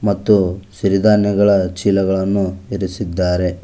ಮತ್ತು ಸಿರಿ ದಾನ್ಯಗಳ ಚೀಲಗಳನ್ನು ಇರಿಸಿದ್ದಾರೆ.